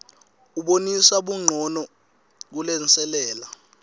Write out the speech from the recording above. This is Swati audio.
ubonisa buncono kulenselela